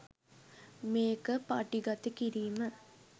මේක පටිගත කිරීම